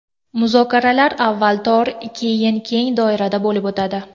Muzokaralar avval tor, keyin keng doirada bo‘lib o‘tadi.